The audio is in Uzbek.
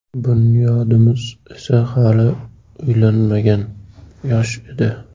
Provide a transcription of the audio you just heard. Bunyodimiz esa hali uylanmagan, yosh edi.